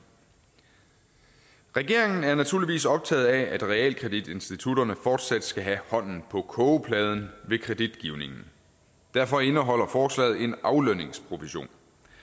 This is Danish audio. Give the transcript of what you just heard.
regeringen er naturligvis optaget af at realkreditinstitutterne fortsat skal have hånden på kogepladen ved kreditgivningen derfor indeholder forslaget en aflønningsprovision